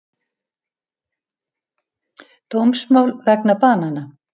Dómsmál vegna banana